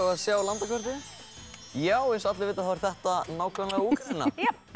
að sjá landakortið já eins og allir vita þá er þetta nákvæmlega Úkraína